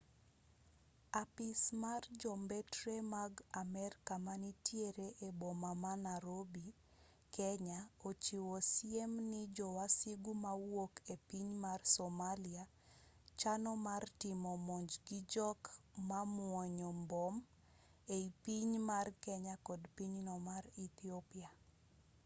apis mar jombetre mag amerka manitiere e boma ma narobi kenya ochiwo siem ni jo wasigu mawuok e piny mar somalia chano mar timo monj gi jok momuonyo mbom ei piny mar kenya kod pinyno mar ethiopia